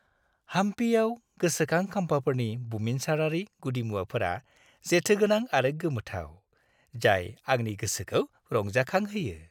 हाम्पीआव गोसोखां खाम्फाफोरनि बुमिनसारारि गुदिमुवाफोरा जेथोगोनां आरो गोमोथाव, जाय आंनि गोसोखौ रंजाखांहोयो।